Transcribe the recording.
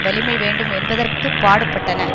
வலிமை வேண்டும் என்பதற்கு பாடுபட்டன